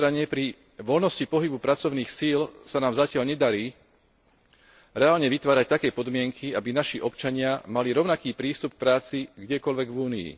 Na druhej strane pri voľnosti pohybu pracovných síl sa nám zatiaľ nedarí reálne vytvárať také podmienky, aby naši občania mali rovnaký prístup k práci kdekoľvek v Únii.